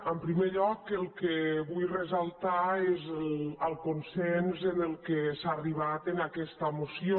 en primer lloc el que vull ressaltar és el consens a què s’ha arribat en aquesta moció